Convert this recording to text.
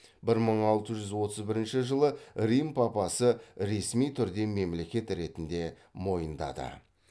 бір мың алты жүз отыз бірінші жылы рим папасы ресми түрде мемлекет ретінде мойындады